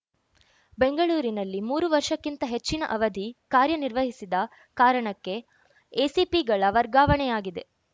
ಬೆಂಗಳೂರಿನಲ್ಲಿ ಮೂರು ವರ್ಷಕ್ಕಿಂತ ಹೆಚ್ಚಿನ ಅವಧಿ ಕಾರ್ಯನಿರ್ವಹಿಸಿದ ಕಾರಣಕ್ಕೆ ಎಸಿಪಿಗಳ ವರ್ಗಾವಣೆಯಾಗಿದೆ